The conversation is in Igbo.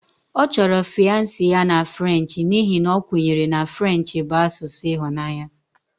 Ọ chọrọ fiance ya na French n'ihi na a kwenyere na French bụ asụsụ ịhụnanya